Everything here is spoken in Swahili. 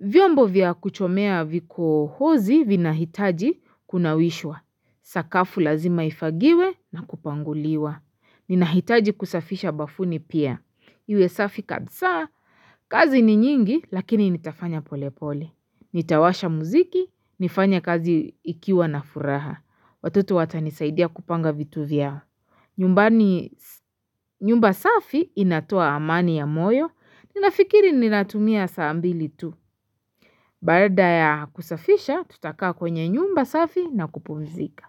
Vyombo vya kuchomea vikohozi vinahitaji kunawishwa. Sakafu lazima ifagiwe na kupanguliwa. Ninahitaji kusafisha bafuni pia. Iwe safi kabza, kazi ni nyingi lakini nitafanya polepole. Nitawasha muziki, nifanye kazi ikiwa na furaha. Watoto watanisaidia kupanga vitu vya. Nyumba safi inatoa amani ya moyo. Ninafikiri ninatumia saa mbili tu. Baada ya kusafisha, tutakaa kwenye nyumba safi na kupumzika.